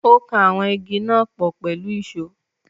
Ó kan àwọn Igi náà pọ̀ pẹ̀lú ìsó.